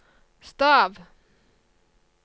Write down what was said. stav